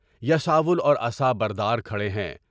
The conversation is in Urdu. یسبل اور عصا بردار کھڑے ہیں۔